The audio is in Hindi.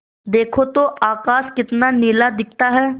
देखो तो आकाश कितना नीला दिखता है